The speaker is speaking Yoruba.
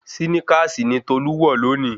Síníkàsì ni Tolú wọ̀ lónìí